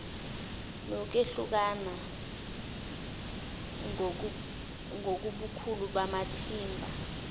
nokwehlukana ngobukhulu bamathimba